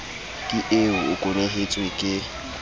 ke eo o kwenehetswe ke